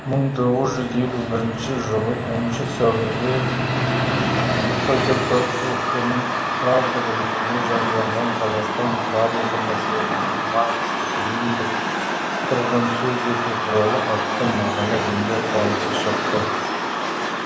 мың тоғыз жүз елу бірінші жылы оныншы сәуірде қкп ок нің правда газетінде жарияланған қазақстан тарихы мәселелерін маркстік лениндік тұрғыдан сөз ету туралы атты мақала жөнінде қаулысы шықты